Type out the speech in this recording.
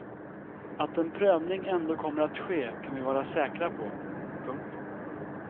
Att en prövning ändå kommer att ske kan vi vara säkra på. punkt